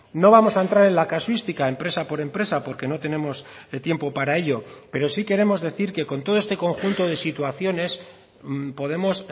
no vamos a entrar en la casuística empresa por empresa porque no tenemos tiempo para ello pero sí queremos decir que con todo este conjunto de situaciones podemos